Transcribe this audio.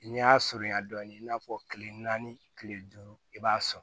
N'i y'a surunya dɔɔnin i n'a fɔ kile naani kile duuru i b'a sɔrɔ